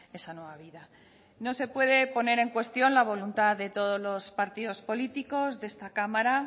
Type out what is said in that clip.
esa nueva vida no se puede poner en cuestión la voluntad de todos los partidos políticos de esta cámara